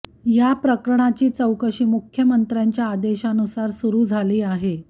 या प्रकरणाची चौकशी मुख्यमंत्र्यांच्या आदेशानुसार सुरू झाली आहे